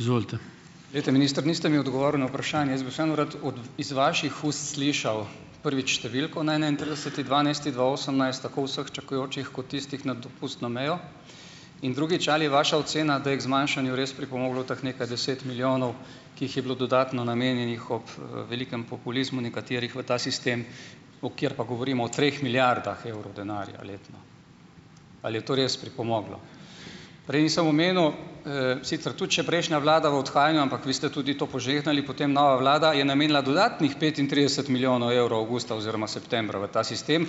Glejte, minister, niste mi odgovoril na vprašanje. Jaz bi vseeno rad od iz vaših ust slišal, prvič, številko na enaintrideseti dvanajsti dva osemnajst tako vseh čakajočih kot tistih nad dopustno mejo. In drugič, ali je vaša ocena, da je k zmanjšanju res pripomoglo teh nekaj deset milijonov, ki jih je bilo dodatno namenjenih ob, velikem populizmu nekaterih v ta sistem, o kjer pa govorimo o treh milijardah evrov denarja letno. Ali je to res pripomoglo? Prej nisem omenil, sicer tudi še prejšnja vlada v odhajanju, ampak vi ste tudi to požegnali, potem nova vlada je namenila dodatnih petintrideset milijonov evrov avgusta oziroma septembra v ta sistem